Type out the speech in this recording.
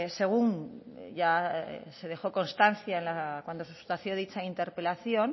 según ya se dejó constancia cuando se sustanció dicha interpelación